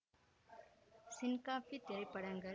வருங்காலம் ஹரி துவண்டு ஊடகம் பார் கலைஞர் அக்கறை ஆன்மீகம் கௌதம்